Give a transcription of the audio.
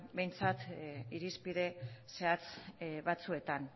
behintzat irizpide zehatz batzuetan